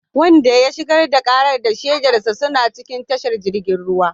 Wanda ya shigar da karar da shaidarsa suna cikin tashar jirgin ruwa